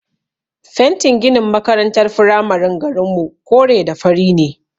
Fentin ginin makarantar firamaren garinmu kore da fari ne.